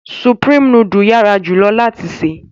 Sùprémé nùdù yara julọ lati se